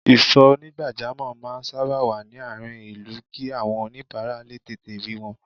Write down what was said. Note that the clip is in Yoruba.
Ìsò onigbajamo máa sábà wá ní àárín ìlú kí àwọn onibara lè tètè rí wọn